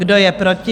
Kdo je proti?